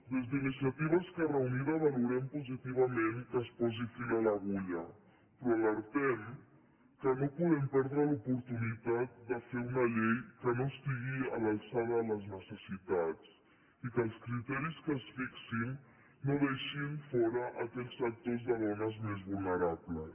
des d’iniciativa esquerra unida valorem positivament que es posi fil a l’agulla però alertem que no podem perdre l’oportunitat de fer una llei que no estigui a l’alçada de les necessitats i que els criteris que es fixin no deixin fora aquells sectors de dones més vulnerables